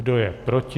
Kdo je proti?